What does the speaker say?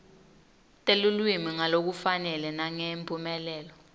telulwimi ngalokufanele nangemphumelelo